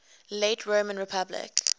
late roman republic